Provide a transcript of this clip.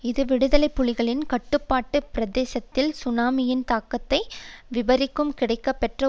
இது விடுதலை புலிகளின் கட்டுப்பாட்டு பிரதேசத்தில் சுனாமியின் தாக்கத்தை விபரிக்கும் கிடைக்கப்பெற்ற